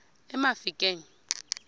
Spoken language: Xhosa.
emafikeng